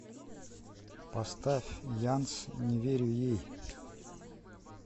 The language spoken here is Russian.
поставь янс не верю ей